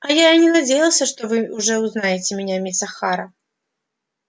а я и не надеялся что вы уже узнаете меня мисс охара